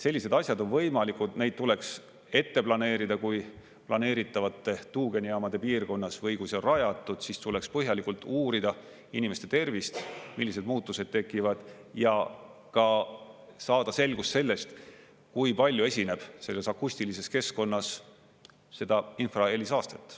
Sellised asjad on võimalikud ja neid tuleks ette planeerida kui planeeritavate tuugenijaamade piirkonnas või kui see on rajatud, siis tuleks põhjalikult uurida inimeste tervist, millised muutused tekivad, ja ka saada selgus sellest, kui palju esineb selles akustilises keskkonnas seda infrahelisaastet.